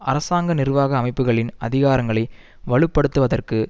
அரசாங்க நிர்வாக அமைப்புகளின் அதிகாரங்களை வலு படுத்துவதற்கு